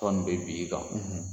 tɔn nin bɛ bi i kan.